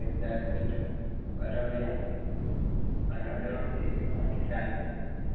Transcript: കാലിക്കറ്റും വേറെ എവിടെയാ വേറെ എവിടെയാ